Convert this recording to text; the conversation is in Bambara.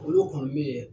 Olu kɔni bɛ